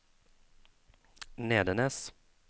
Nedenes